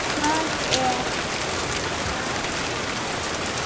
Hvað er það, lagsi?